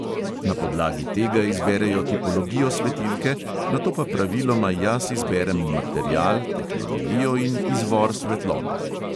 Na podlagi tega izberejo tipologijo svetilke, nato pa praviloma jaz izberem material, tehnologijo in izvor svetlobe.